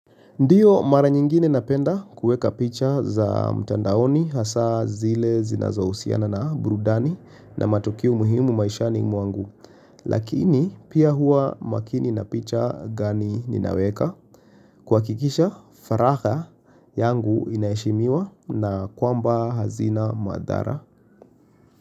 Ndiyo mara nyingine napenda kueka picha za mtandaoni hasa zile zinazohusiana na burudani na matukio muhimu maishani mwangu. Lakini pia huwa makini na picha gani ninaweka kuhakikisha faragha yangu inaiheshimiwa na kwamba hazina madhara.